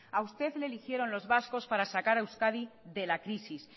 a usted le eligieron los vascos para sacar a euskadi de la crisis